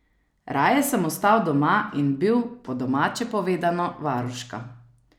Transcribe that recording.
Raje sem ostal doma in bil, po domače povedano, varuška.